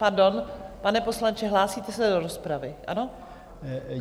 Pardon, pane poslanče, hlásíte se do rozpravy, ano?